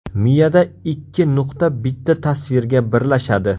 Miyada ikki nuqta bitta tasvirga birlashadi.